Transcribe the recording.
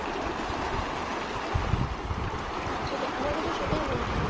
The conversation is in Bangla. হ্যাঁ সেটাই। আমারও তো সেটাই মনে হয়।